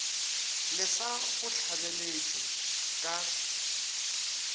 le sa go hlabetše ka